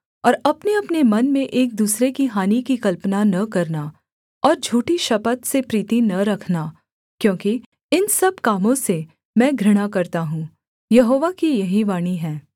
और अपनेअपने मन में एक दूसरे की हानि की कल्पना न करना और झूठी शपथ से प्रीति न रखना क्योंकि इन सब कामों से मैं घृणा करता हूँ यहोवा की यही वाणी है